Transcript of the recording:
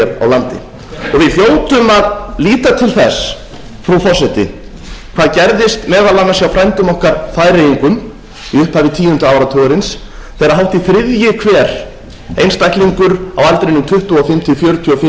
líta til þess frú forseti hvað gerðist meðal annars hjá frændum okkar færeyingum í upphafi tíunda áratugarins þegar hátt í þriðji hver einstaklingur á aldrinum tuttugu og fimm til fjörutíu og